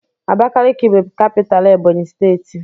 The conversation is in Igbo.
Abakiliki bụ capitalú Ebọnyi steeti.